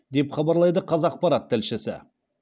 деп хабарлайды қазақпарат тілшісі